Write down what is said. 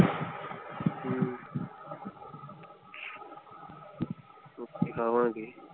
ਓਥੇ ਖਾਵਾਂਗੇ।